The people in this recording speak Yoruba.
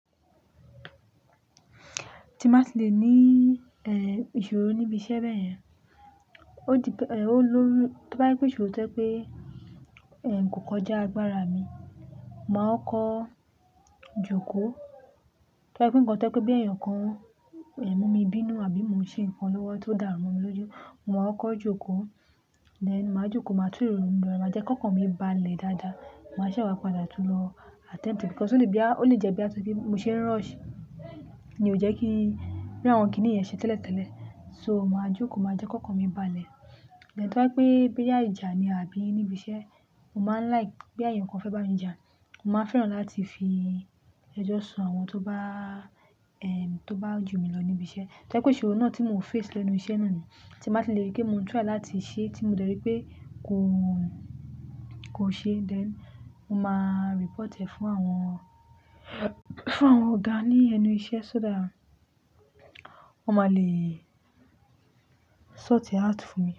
Tí n bá ti lè ní, ìṣòro níbi iṣẹ́ bẹ́yẹn, ó di pé, ó lórí, ti ó bá je pé ìṣòro ti o je pé, kò kọjá agbára mi, mo màá kọko jókòó. Tó bá je ńkan ti o jẹ́ pé boya èèyàn kan, mú mi bínú àbí mo n ṣe ńkan lọ́wọ́ ti ó dàru mo mí lójú, mo màá kọko jókòó. Then màá jókòó, màá tú ìrònú mi ro, màá jẹ́ kí ọkàn mi balẹ̀ dáadáa. Màá ṣẹ wà padà tún lọ attempt it because ó lè jẹ́ bí a tó bí n ṣe ń rush ni ò jẹ́ kí bí àwọn kíní yẹn ṣe tẹ́lẹ̀tẹ́lẹ̀. So màá jókòó, màá jẹ́ kí ọkàn mi báà lẹ̀. Tò bá yí pé bí yá ìjà ni àbí níbi iṣẹ́, mo máa ń like pé èèyàn kan fẹ́ bá mi jà. Mo máa ń fẹ́ràn láti fi ẹjọ́ sun àwọn tó bá, tó bá jù mí lọ níbi iṣẹ́. Tó bá jẹ́ pé ìṣòro náà tí mo face lẹ́nu iṣẹ́ náà ni tí n má lè rí pé mo ń try láti ṣe tí mo dẹ ri pé kò, kò ṣe, then mo máa report ẹ̀ fún àwọn, fún àwọn ọ̀gá ní ẹnu iṣẹ́ so that wọ́n máa le sort ẹ out fún mi.